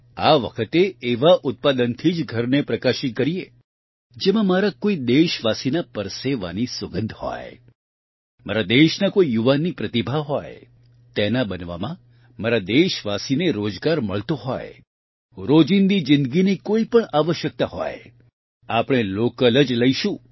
આ વખતે એવા ઉત્પાદનથી જ ઘરને પ્રકાશિત કરીએ જેમાં મારા કોઇ દેશવાસીના પરસેવાની સુગંધ હોય મારા દેશના કોઇ યુવાનની પ્રતિભા હોય તેના બનવામાં મારા દેશવાસીને રોજગાર મળતો હોય રોજીંદી જીંદગીની કોઇપણ આવશ્યકતા હોય આપણે લોકલ જ લઇશું